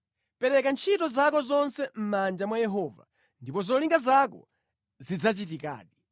Pereka ntchito zako zonse mʼmanja mwa Yehova, ndipo zolinga zako zidzachitikadi.